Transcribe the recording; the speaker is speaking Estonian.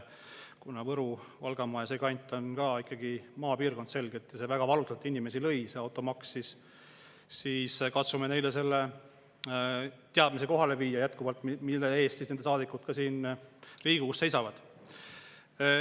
Kuna Võru‑ ja Valgamaa, see kant, on ka ikkagi selgelt maapiirkond ja see automaks väga valusalt inimesi lööb, siis katsume neile jätkuvalt selle teadmise kohale viia, mille eest nende saadikud siin Riigikogus seisavad.